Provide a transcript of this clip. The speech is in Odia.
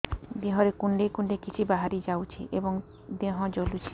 ଦେହରେ କୁଣ୍ଡେଇ କୁଣ୍ଡେଇ କିଛି ବାହାରି ଯାଉଛି ଏବଂ ଦେହ ଜଳୁଛି